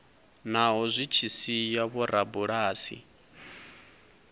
naho zwi tshi sia vhorabulasi